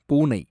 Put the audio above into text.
பூனை